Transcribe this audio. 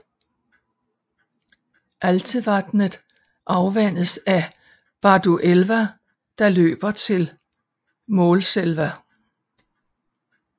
Altevatnet afvandes af Barduelva der løber til Målselva